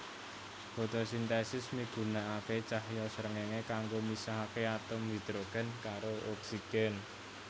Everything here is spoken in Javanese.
Fotosintesis migunakaké cahya srengéngé kanggo misahaké atom hidrogen karo oksigen